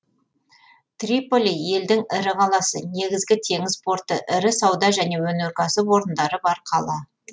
триполи елдің ірі қаласы негізгі теңіз порты ірі сауда және өнеркәсіп орындары бар қала